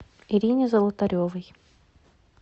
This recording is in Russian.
ирине золотаревой